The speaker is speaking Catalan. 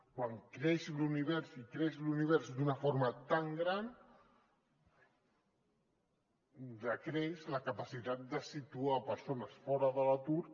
quan creix l’univers i creix l’univers d’una forma tan gran decreix la capacitat de situar persones fora de l’atur